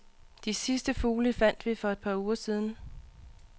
De sidste fugle fandt vi for et par uger siden.